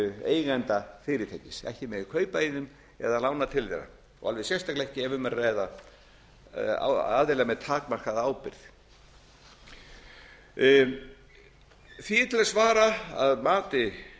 eigenda fyrirtækis ekki megi kaupa í þeim eða lána til þeirra og alveg sérstaklega ekki ef um er að ræða aðila með takmarkaða ábyrgð því er til að svara að mati